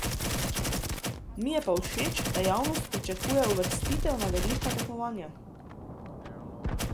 Mi je pa všeč, da javnost pričakuje uvrstitve na velika tekmovanja.